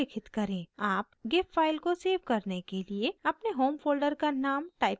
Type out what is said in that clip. आप gif file को save करने के लिए अपने home folder का name type कर सकते हैं